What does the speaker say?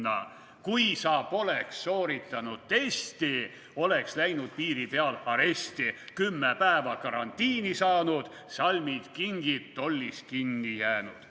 / Kui sa poleks sooritanud testi, / oleks läinud piiri peal aresti, / 10 päeva karantiini saanud, / salmid, kingid tollis kinni jäänud.